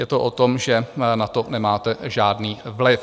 Je to o tom, že na to nemáte žádný vliv.